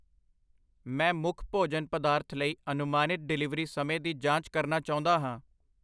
ਮੈਂ ਮੁੱਖ ਭੋਜਨ ਪਦਾਰਥ ਲਈ ਅਨੁਮਾਨਿਤ ਡਿਲੀਵਰੀ ਸਮੇਂ ਦੀ ਜਾਂਚ ਕਰਨਾ ਚਾਹੁੰਦਾ ਹਾਂ।